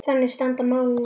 Þannig standa málin í dag.